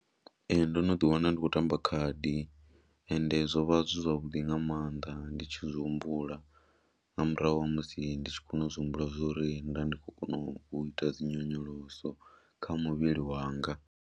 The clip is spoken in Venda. Ee, ndo no ḓ wana ndi khou tamba khadi ende zwo vha zwi zwavhuḓi nga maanḓa ndi tshi zwi humbula, nga murahu ha musi ndi tshi kona u zwi humbula zwa uri nda ndi khou kona u ita dzi nyonyoloso kha muvhili wanga.